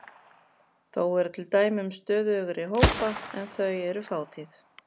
Þó eru til dæmi um stöðugri hópa en þau eru fátíð.